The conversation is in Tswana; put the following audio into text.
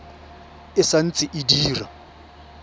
e sa ntse e dira